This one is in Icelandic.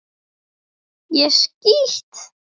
ÉG SKÝT!